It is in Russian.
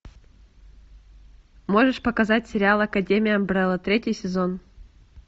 можешь показать сериал академия амбрелла третий сезон